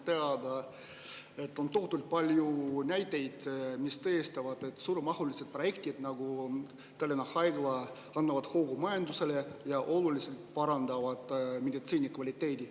Maailmas on tohutult palju näiteid, mis tõestavad, et suuremahulised projektid, nagu Tallinna Haigla, annavad hoogu majandusele ja oluliselt parandavad meditsiini kvaliteeti.